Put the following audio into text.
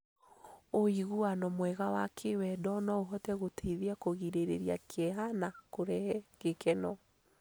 Ũiguano mwega wa kĩwendo no ũhote gũteithia kũgirĩrĩria kĩeha na kũrehe gĩkeno.